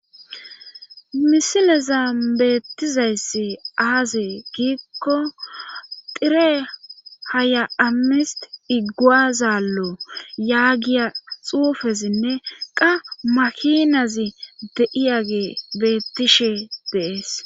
Misileza beettizayssi aaze giikko tire haya7ammist igguaazallo yaagiya xuufezinne qa makinazi deiyagee beettishe deees.